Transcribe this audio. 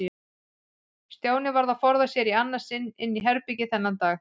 Stjáni varð að forða sér í annað sinn inn í herbergi þennan dag.